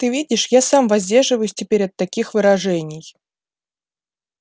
ты видишь я сам воздерживаюсь теперь от таких выражений